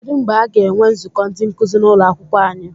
Kedụ mgbe aga enwe nzukọ ndị nkuzi n'ụlọakwụkwọ anyị?